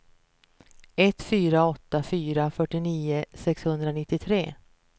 ett fyra åtta fyra fyrtionio sexhundranittiotre